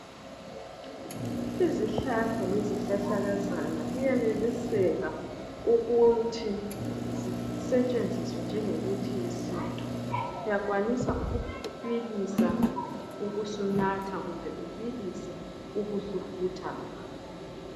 Izihlahla lezihlahlakazana kuyeneliseka ukuthi zisetshenziswe njenge mithi yesintu uyakwanisa ukubilisa ube usunatha kumbe utilise ube usufutha ngakho